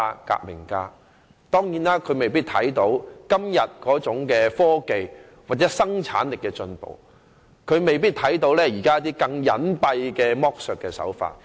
他沒有看到今天在科技或生產力上的進步，亦未必能預見現時一些更加隱蔽的剝削手法。